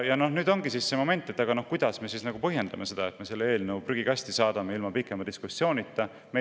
Nüüd ongi see moment, et kuidas me põhjendame seda, et me selle eelnõu ilma pikema diskussioonita prügikasti saadame.